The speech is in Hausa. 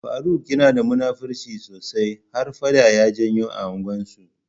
Faruk yanada da munafirci sosai, har faɗa ya janyo a unguwan su.